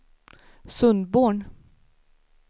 Sundborn